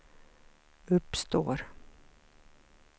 uppstår